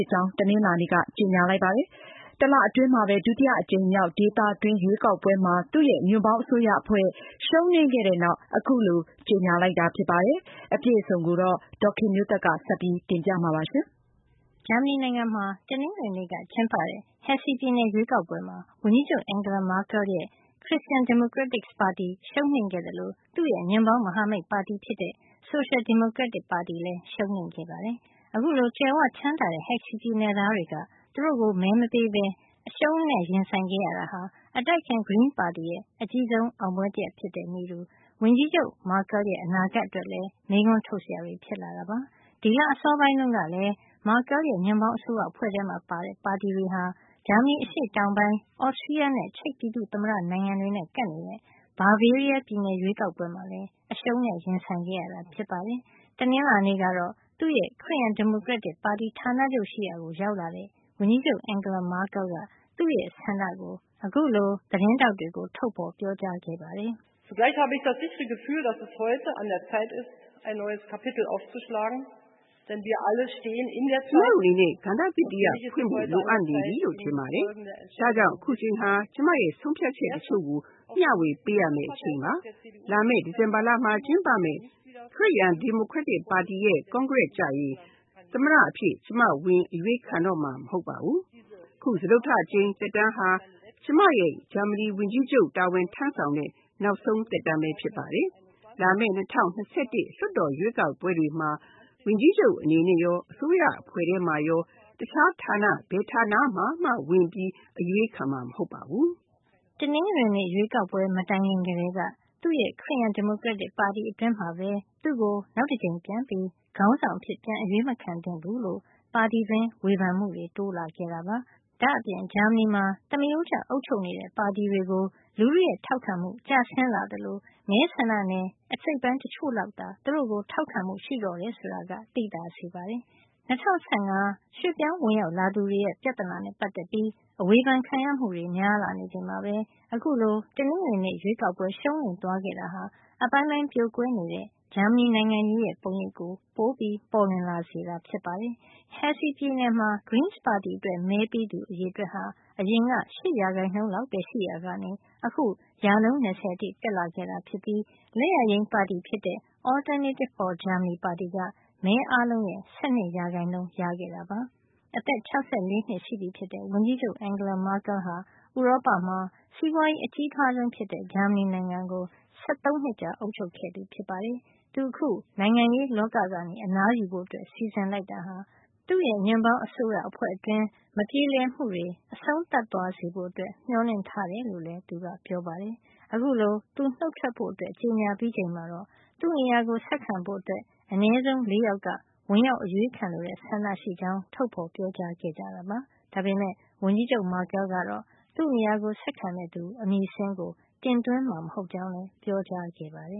တ်ကြောင်း တနင်္လာနေ့မှာ ကြေညာလိုက်ပါတယ်။ တလ အတွင်းမှာပဲ ဒုတိယအကြိမ်မြောက် ဒေသတွင်းရွေးကောက်ပွဲမှာ သူ့ရဲ့ ညွန့်ပေါင်း အစိုးရအဖွဲ့ ရှုံးနိမ့်ခဲ့တဲ့ နောက် အခုလို ကြေညာလိုက်တာ ဖြစ်ပါတယ်။ အပြည့်အစုံကို ဒေါ်ခင်မျိုးသက်က ပြောပြပေးမှာပါ။ ဂျာမဏီနိုင်ငံမှာ တနင်္ဂနွေနေ့ကကျင်းပတဲ့ Hesse ပြည်နယ် ရွေးကောက်ပွဲမှာ ဝန်ကြီးချုပ် Angela Merkel ရဲ့ Christian Democrats ပါတီ ရှုံးနိမ့်ခဲ့သလို သူ့ရဲ့ ညွန့်ပေါင်းမဟာမိတ် ပါတီဖြစ်တဲ့ ဆိုရှယ် ဒီမိုကရက်တစ်ပါတီလည်း ရှုံးနိမ့်ခဲ့ပါတယ်။ အခုလို ကြွယ်ဝချမ်းသာတဲ့ ဟက်ဆီ Hesse ပြည်နယ်သားတွေက သူတို့ကို မဲမပေးပဲ ရှုံးနိမ့်ခဲ့တာဟာ အတိုက်အခံ Green party ရဲ့ အကြီးဆုံး အောင်ပွဲ တရပ် ဖြစ်တဲ့ နည်းတူ ဝန်ကြီးချုပ် Merkel ရဲ့ အနာဂတ်အတွက်လည်း မေးခွန်းထုတ်စရာတွေ ဖြစ်လာတာပါ။ ဒီလ အစောပိုင်းတုန်းကလည်း Merkel ရဲ့ ညွန့်ပေါင်းအစိုးရအဖွဲ့ ထဲမှာပါတဲ့ ပါတီတွေဟာ ဂျာမဏီ အရှေ့တောင်ပိုင်း Austria နဲ့ ချက်ပြည်သူ့သမ္မတ နိုင်ငံတွေနဲ့ ကပ်နေတဲ့ Bavaria ပြည်နယ် ရွေးကောက်ပွဲမှာလည်း အရှုံးနဲ့ ရင်ဆိုင်ခဲ့ရတာဖြစ်ပါတယ်။ တနင်္လာနေ့ကတော့ သူ့ရဲ့ ခရစ်ယန်ဒီမိုကရက်တစ်ပါတီ ဌာနချုပ်ရှိရာကို ရောက်လာတဲ့ ဝန်ကြီးချုပ် Merkel က သူ့ရဲ့ ဆန္ဒကို အခုလို သတင်းထောက်တွကို ထုတ်ဖေါ်ပြောကြားလိုက်ပါတယ်။ "ကျမတို့အနေနဲ့ ကဏ္ဍသစ်တရပ် ဖွင့်ဖို့ လိုအပ်နေပြီလို့ထင်ပါတယ်။ ဒါကြောင့် အခုအချိန်ဟာ ကျမရဲ့ ဆုံးဖြတ်ချက် တချို့ကို မျှဝေပေးရမယ့် အချိန်ပါ။ လာမယ့် ဒီဇင်ဘာလမှာ ကျင်းပမယ့် ခရစ်ယန် ဒီမိုကရက်တစ်ပါတီရဲ့ ကွန်ဂရက်ကျရင် သမ္မတအဖြစ် ကျမဝင်ပြီး အရွေးခံတော့မှာ မဟုတ်ပါဘူး။ အခု စတုတ္ထအကြိမ်မြောက် သက်တမ်းဟာ ကျမရဲ့ ဂျာမဏီနိုင်ငံဝန်ကြီးချုပ်တာဝန်ထမ်းဆောင်တဲ့ နောက်ဆုံး သက်တမ်းဖြစ်ပါတယ်။ လာမယ့် ၂၀၂၁ လွှတ်တော်ရွေးကောက်ပွဲတွေမှာ ဝန်ကြီးချုပ်အနေနဲ့ရော၊ အစိုးရအဖွဲ့ထဲမှာရော တခြားဌာန ဘယ်ဌာန မှာမှ ဝင်ပြီး အရွေးခံမှာ မဟုတ်ပါဘူး။” တနင်္ဂနွေနေ့ ရွေးကောက်ပွဲ မတိုင်ခင်ကတည်းက သူ့ရဲ့ ခရစ်ယန် ဒီမိုကရက်တစ်ပါတီ အတွင်းမှာပဲ သူ့ကို နောက်တကြိမ် ပြန်ပြီး ခေါင်းဆောင် အဖြစ် ပြန်အရွေးမခံသင့်ဘူးလို့ ပါတီတွင်း ဝေဖန်မှုတွေတိုးလာခဲ့တာပါ။ ဒါ့အပြင် ဂျာမဏီမှာ သမရိုးကျ အုပ်ချုပ်နေကျ ပါတီတွေကို လူထုရဲ့ ထောက်ခံမှု ကျဆင်းလာသလို မဲဆန္ဒနယ် အစိတ်အပိုင်းတချို့လောက်သာ သူတို့ကို ထောက်ခံမှုရှိတော့တယ် ဆိုတာကို သိသာစေပါတယ်။ ၂၀၁၅ ရွှေ့ပြောင်းဝင်ရောက်လာသူတွေရဲ့ ပြဿနာ နဲ့ပတ်သက်ပြီး အဝေဖန် ခံရမှုတွေများနေချိန်မှာပဲ အခုလို တနင်္ဂနွေနေ့ ရွေးကောက်ပွဲ ရှုံးနိမ့်သွားခဲ့တာတာဟာ အပိုင်းပိုင်း ပြိုကွဲနေတဲ့ ဂျာမဏီနိုင်ငံရေးရဲ့ ပုံရိပ်ကို ပိုပေါ်လွင်လာစေတာဖြစ်ပါတယ်။ Hesse ပြည်နယ်မှာ Greens ပါတီအတွက် မဲပေးသူတွေဟာ အရင်က ၈ % လောက်ပဲ ရှိရာကနေ အခု ရာခိုင်နှုန်း ၂၀ အထိ တက်လာခဲ့တာ ဖြစ်ပြီး လက်ယာယိမ်းပါတီဖြစ်တဲ့ Alternative for Germany ပါတီက မဲအားလုံးရဲ့ ၁၂ ရာခိုင်နှုန်း ရခဲ့တာပါ။ အသက် ၆၄ နှစ် ရှိပြီဖြစ်တဲ့ ဝန်ကြီးချုပ် Angela Merkel ဟာ ဥရောပမှာ စီးပွါးရေး အကြီးထွားဆုံးဖြစ်တဲ့ ဂျာမဏီနိုင်ငံကို ၁၃ နှစ်ကြာ အုပ်ချုပ်ခဲ့သူပါ။ သူအခု နိုင်ငံရေးလောကကနေ အနားယူဖို့ စီစဉ် လိုက်တာဟာ သူ့ရဲ့ ညွန့်ပေါင်းအစိုးရအဖွဲ့အတွင်း မပြေလည်မှုတွေ အဆုံးသတ်သွားဖို့ မျှော်လင့် ထားတယ်လို့လည်း ပြောပါတယ်။ သူအခုလို နှုတ်ထွက်ဖို့ ကြေညာပြီးချိန်မှာတော့ သူ့နေရာကို ဆက်ခံဖို့ အနဲဆုံး ၄ ယောက်က ဝင်ရောက် အရွေးခံလိုတဲ့ ဆန္ဒရှိကြောင်း ထုတ်ပြောခဲ့ကြပါတယ်။ ဒါပေမယ့် ဝန်ကြီးချုပ် Merkel ကတော့ သူ့နေရာကို ဆက်ခံမယ့် သူအမည်စာရင်းကို တင်သွင်းမှာ မဟုတ်ကြောင်းလည်း ပြောကြားခဲ့ပါတယ